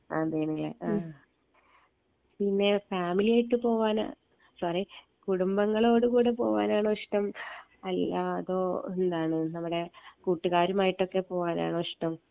അതന്നെ ആ പിന്നെ ഫാമിലിയായിട്ട് പോവാനാ സോറി കുടുംബങ്ങളോട് കൂടെ പോവാനാണോ ഇഷ്ട്ടം അല്ല അതോ എന്താണ് നമ്മടെ കൂട്ടുകാരുമായിട്ടൊക്കെ പോവാനാണോ ഇഷ്ട്ടം